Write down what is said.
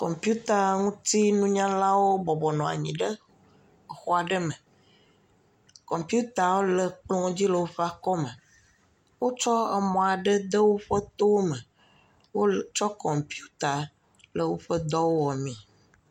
Kɔmpuita ŋutinunyala ɖewo bɔbɔ nɔ anyi ɖe exɔ aɖe me. Kɔputawo le kplɔ dzi le woƒe akɔme. Wotsɔ emɔ aɖe de woƒe towo me, wotsɔ kɔmputa le woƒe dɔ wɔmee.